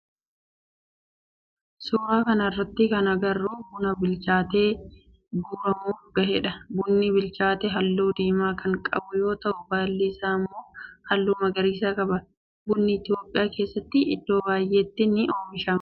Suuraa kana irratti kan agarru buna bilchaatee guuramuf gahedha. Bunni bilchaate halluu diimaa kan qabu yoo ta'u baalli isaa immoo halluu magariisa qaba. Bunni Itiyoophiyaa keessatti iddoo baayyeetti ni oomishama.